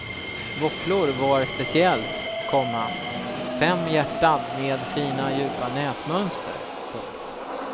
Våfflor var speciellt, komma fem hjärtan med fina djupa nätmönster. punkt